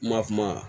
Ma kuma